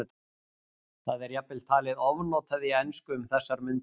Það er jafnvel talið ofnotað í ensku um þessar mundir.